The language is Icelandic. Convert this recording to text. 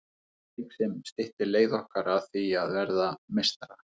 Leik sem styttir leið okkar að því að verða meistarar.